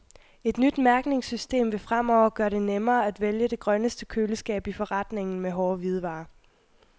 Et nyt mærkningssystem vil fremover gøre det nemmere at vælge det grønneste køleskab i forretningen med hårde hvidevarer.